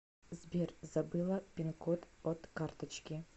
сбер забыла пинкод от карточки